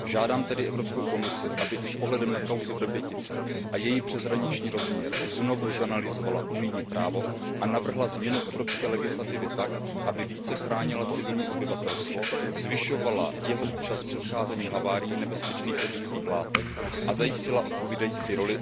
Žádám tedy Evropskou komisi, aby i s ohledem na kauzu Vrbětice a její přeshraniční rozměr znovu zanalyzovala unijní právo a navrhla změnu evropské legislativy tak, aby více chránila civilní obyvatelstvo, zvyšovala jeho účast v předcházení haváriím nebezpečných chemických látek a zajistila odpovídající roli municipalitám.